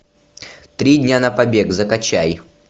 три дня на побег закачай